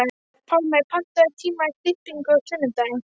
Pálmey, pantaðu tíma í klippingu á sunnudaginn.